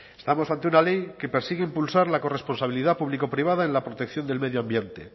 estamos ante una ley que persigue impulsar la corresponsabilidad público privada en la protección del medio ambiente